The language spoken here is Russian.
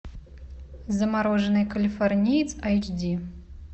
замороженный калифорниец айч ди